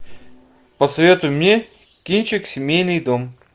посоветуй мне кинчик семейный дом